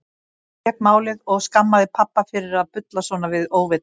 Mamma fékk málið og skammaði pabba fyrir að bulla svona við óvitann.